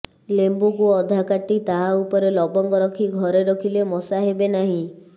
ଲେମ୍ବୁକୁ ଅଧା କାଟି ତାହା ଉପରେ ଲବଙ୍ଗ ରଖି ଘରେ ରଖିଲେ ମଶା ହେବେ ନାହିଁ